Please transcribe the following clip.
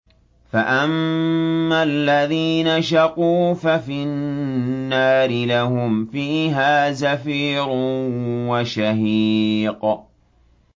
فَأَمَّا الَّذِينَ شَقُوا فَفِي النَّارِ لَهُمْ فِيهَا زَفِيرٌ وَشَهِيقٌ